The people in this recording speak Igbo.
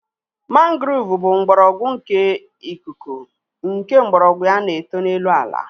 Mangrove bụ mgbọrọgwụ nke ikuku nke mgbọrọgwụ ya na-eto n'elu ala